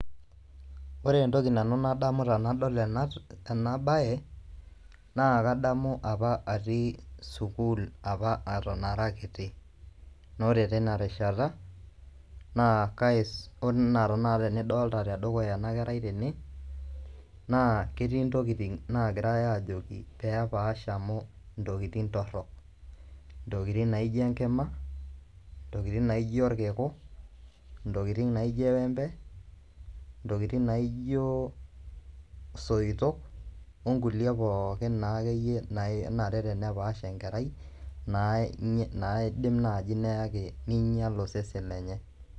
Ore entoki nanu nadamu tenadol ena baye naa kadamu apa atii sukuul apa eton ara kiti naa ore tina rishata oo naa tanakata nidolita tedukuya ena kerai tene naa ketii ntokitin naagirai aajoki pee epaash amu ntokitin torrok, ntokitin naa aijo enkima, ntokitin naa ijo irkiku, ntokitin naa ijo eembe, ntokitin naa ijio isoitok onkulie pookin naa akeyie naa kenare pee epaash enkerai naidim naaji neyaki niinyial osesen lenye.